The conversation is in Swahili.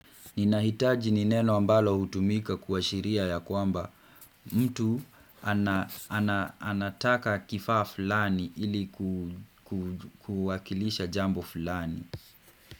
Ninahitaji nineno ambalo hutumika kuwashiria ya kwamba mtu anataka kifaa fulani ili kuwakilisha jambo fulani.